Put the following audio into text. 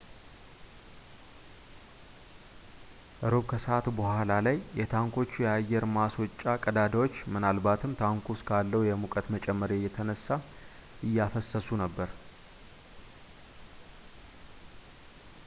እሮብ ከሰዓት በኋላ ላይ የታንኮቹ የአየር ማስወጫ ቀዳዳዎች ምናልባትም ታንኩ ውስጥ ካለው የሙቀት መጨመር የተነሳ እያፈሰሱ ነበር